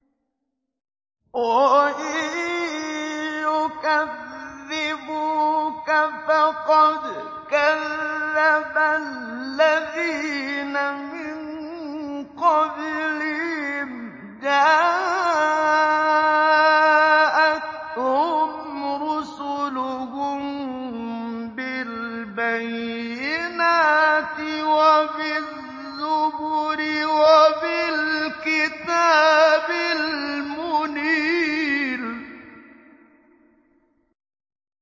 وَإِن يُكَذِّبُوكَ فَقَدْ كَذَّبَ الَّذِينَ مِن قَبْلِهِمْ جَاءَتْهُمْ رُسُلُهُم بِالْبَيِّنَاتِ وَبِالزُّبُرِ وَبِالْكِتَابِ الْمُنِيرِ